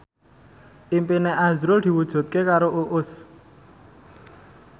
impine azrul diwujudke karo Uus